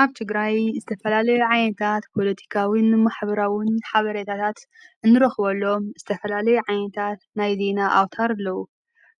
ኣብቲ ግራይ ዝተፈላለ ዓየንታት ኾሎቲካውን ማኅብራዉን ሓበሬታታት እንሮኽወሎም ዝተፈላለይ ዓኔንታት ናይዘ ና ኣውታር ብለዉ